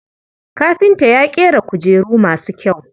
Kafinta ya ƙera kujeru masu kyau.